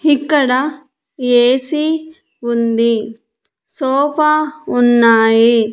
ఇక్కడ ఏసి ఉంది సోఫా ఉన్నాయి.